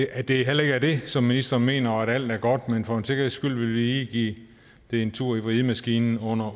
at det heller ikke er det som ministeren mener og at alt er godt men for en sikkerheds skyld vil vi lige give det en tur i vridemaskinen under